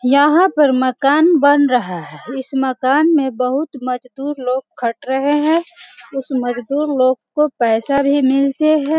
यहाँ पर मकान बन रहा है इस मकान में बहुत मजदूर लोग खट रहे है उस मजदूर लोग को पैसा भी मिलते है।